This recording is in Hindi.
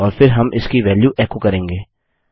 और फिर हम इसकी वेल्यू एको करेंगे